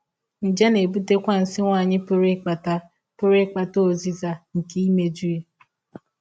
Nje na - ebụtekwa nsí nwanyị pụrụ ịkpata pụrụ ịkpata ọzịza nke imejụ.